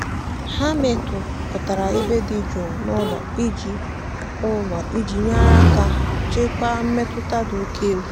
ha mepụtara ebe dị jụụ n'ụlọ iji n'ụlọ iji nyere aka chịkwaa mmetụta dị oke egwu.